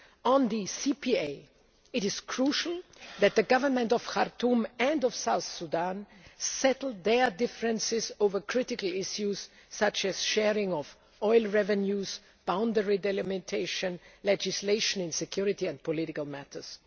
On the CPA, it is crucial that the Government of Khartoum and of South Sudan settle their differences over critical issues such as sharing of oil revenues, boundary delimitation, and legislation in security and political